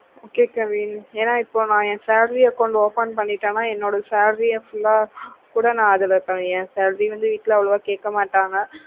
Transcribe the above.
okay kavin ஏன்னா எப்போ ஏன் salary account open பண்ணிட்டானா என்னோட salary யா full ஆஹ் கூட ந அதுல ஏன் salarya வீட்ல காயக்கமாட்டாங்க